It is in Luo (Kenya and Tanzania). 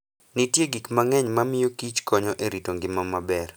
Nitie gik mang'eny mamiyo Kich konyo e rito ngima maber.